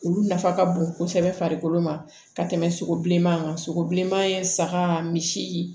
Olu nafa ka bon kosɛbɛ farikolo ma ka tɛmɛ sogo bilenman kan sogo bilenman ye saga misi